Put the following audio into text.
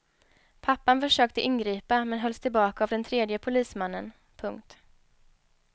Pappan försökte ingripa men hölls tillbaka av den tredje polismannen. punkt